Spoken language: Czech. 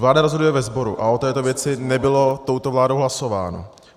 Vláda rozhoduje ve sboru a o této věci nebylo touto vládou hlasováno.